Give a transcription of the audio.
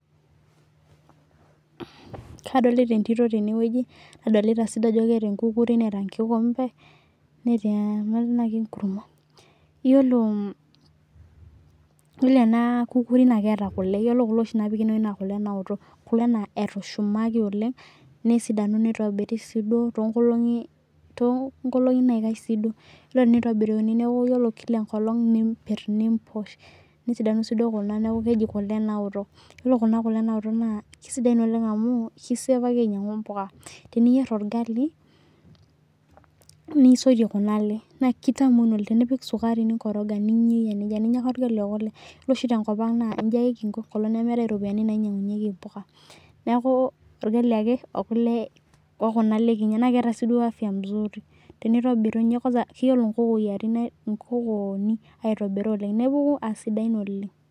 Kadolita entito tenewoji, nadolita sii ajo keeta enkukuri neeta enkikombe. Netii embakit enkurma. Iyiolo, yiolo ena kukuri naa keeta kule, yiolo kule oshi naapiki enewoji naa kule naoto, kule naa etushumaki oleng', nesidanu nitobiri sii duo toonkolongi naikash sii duo. Yiolo tenitobiruni neeku kila enkolong' niimpirr niimposh, nesidanu sii duo kuna neeku keji kule naoto. Yiolo kuna kule naoto naa kesidain oleng' amuu, kiseevaki ainyiangu impuka. Teniyierr orgali, nisotie kuna ale, naa kitamol oleng', tenipik sukari ningoroga ninyayie teninya orgali okulie. Yiolo oshi tenkop ang' naa iji ake kinko enkolong' nemeetae iropiyani nainyiangunyieki impuka. Neeku orgali ake okule okuna ale kinyi. Naa keeta sii duo afya mzuri. Tinitobiruni inye kwansa keyiolo inkokoyirin inkokooni aitobira oleng', nepuku aa sidain oleng'.